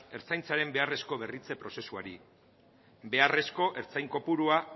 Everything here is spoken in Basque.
ertzaintzaren beharrezko berritze prozesuari beharrezkoa ertzain kopurua